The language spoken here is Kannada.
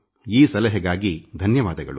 ಈ ಸಲಹೆಗಾಗಿ ಧನ್ಯವಾದಗಳು